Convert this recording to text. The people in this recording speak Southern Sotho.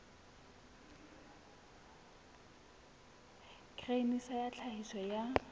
grain sa ya tlhahiso ya